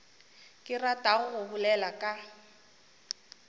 ke ratago go bolela ka